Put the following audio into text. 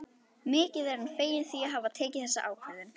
Mikið er hann feginn því að hafa tekið þessa ákvörðun.